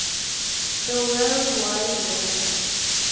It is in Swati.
the world wide web